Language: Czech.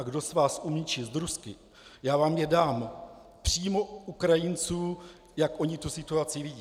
A kdo z vás umí číst rusky, já vám je dám - přímo Ukrajinců, jak oni tu situaci vidí.